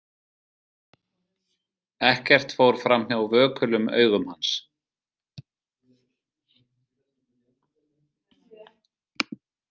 Ekkert fór framhjá vökulum augum hans.